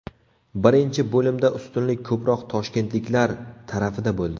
Birinchi bo‘limda ustunlik ko‘proq toshkentliklar tarafida bo‘ldi.